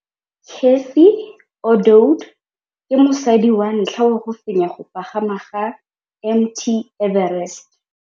Cathy Odowd ke mosadi wa ntlha wa go fenya go pagama ga Mt Everest.